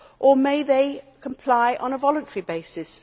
Or may they comply on a voluntary basis?